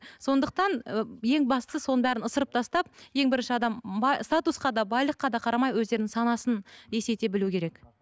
сондықтан ы ең бастысы соның бәрін ысырып тастап ең бірінші адам статусқа да байлыққа да қарамай өздерінің санасын есейте білу керек